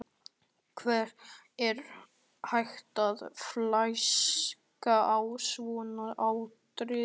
Hvernig er hægt að flaska á svona atriði?